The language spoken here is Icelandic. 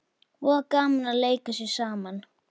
Voða gaman að leika sér saman